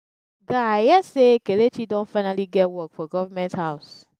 guy i hear say kelechi don finally get work for government house